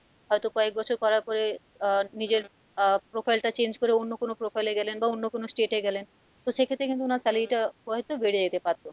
হয়তো কয়েক বছর করার পরে আহ নিজের আহ profile টা change করে অন্য কোনো profile এ গেলেন বা অন্য কোনো state এ গেলেন তো সেক্ষেত্রে কিন্তু উনার salary টা হয়তো বেড়ে যেতে পারতো।